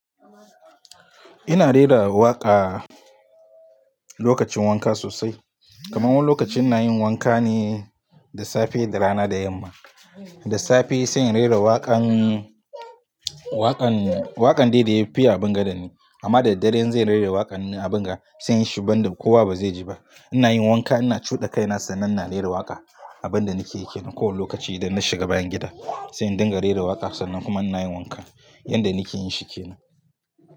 Ina rera waƙa lokacin wanka sosai. Kaman wani lokaci inayin wanka ne da safe da rana da yamma. Da safe sai in rera waƙan, waƙan, waƙan dai da ya fiye abunga da ni. Amma da daddare in ze rera waƙan na abunga sai in yi shi ban da kowa ba zai ji ba. Ina yin wanka ina cuɗa kaina sannan ina rera waƙa a ban da nake yakeyi ke. Nan kowane lokaci idan na shiga bayan gida sai in dinga rera waƙa sannan kuma ina yin wanka. Yanda nake yin shi kenan.